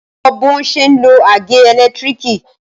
Ṣé o mọ bọ́n ṣe ń lo àgé ẹ̀lẹ́tírìkì?